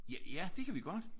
Ja ja det kan vi godt!